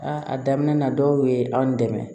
a daminɛ na dɔw ye anw dɛmɛ